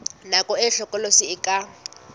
nako e hlokolosi e ka